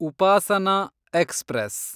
Upasana express